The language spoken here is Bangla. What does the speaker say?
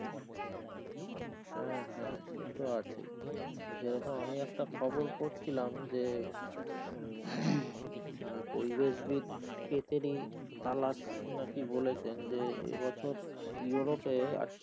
হ্যাঁ হ্যাঁ সে তো আছেই যেরকম আমি একটা খবর পড়ছিলাম যে আহ পরিবেশ ভেদ কেদের ই তালাশ নাকি কি বলেছেন যে এ বছর ইউরোপে,